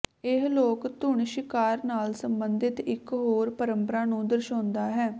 ਇਹ ਲੋਕ ਧੁਨ ਸ਼ਿਕਾਰ ਨਾਲ ਸਬੰਧਤ ਇਕ ਹੋਰ ਪਰੰਪਰਾ ਨੂੰ ਦਰਸਾਉਂਦਾ ਹੈ